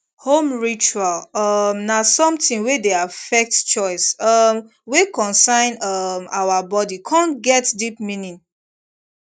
home ritual um na something wey dey affect choice um wey concern um our body con get deep meaning